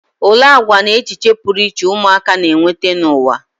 Olee àgwà na echiche pụrụ iche ụmụaka na-eweta n'ụwa?